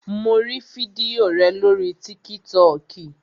Mo rí fídíò rẹ̀ lórii tíkítọkì